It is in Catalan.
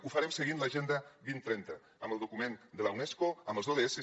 ho farem seguint l’agenda dos mil trenta amb el document de la unesco amb els odss